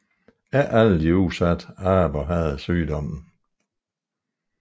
Ikke alle de udsatte aber havde sygdommen